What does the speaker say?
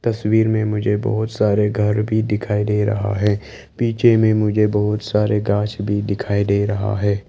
तस्वीर में मुझे बहोत सारे घर भी दिखाई दे रहा है पीछे में मुझे बहोत सारे गास भी दिखाई दे रहा है।